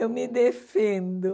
Eu me defendo.